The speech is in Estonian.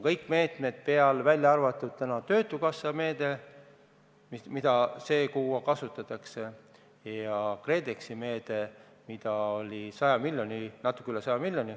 Tänaseks on kokku lepitud töötukassa meede, mida see kuu kasutatakse, ja KredExi meede, milleks on eraldatud natuke üle 100 miljoni.